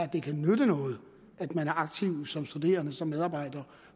det kan nytte noget at man er aktiv som studerende og som medarbejder